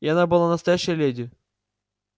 и она была настоящая леди